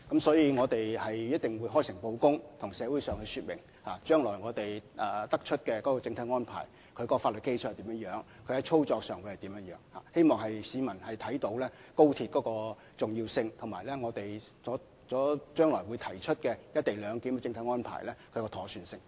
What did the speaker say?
所以，我們一定會開誠布公，向社會說明將來我們得出的整體安排、法律基礎及操作方面的細節，希望市民明白高鐵的重要性，以及我們致力為將來的"一地兩檢"提出妥善的安排。